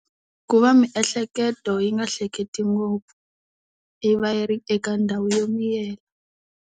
Ku va miehleketo yi nga hleketi ngopfu yi va yi ri eka ndhawu yo miyela.